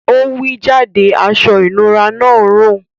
Ọ̀ wí jádẹ̀ àṣọ-ìnúrà náà ń rún.